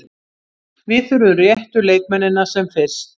Við þurfum réttu leikmennina sem fyrst.